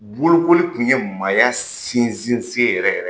Bolokoli tun ye maaya sinsin sen yɛrɛ yɛrɛ